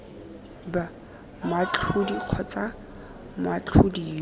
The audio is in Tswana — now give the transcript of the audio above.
b moatlhodi kgotsa moatlhodi yo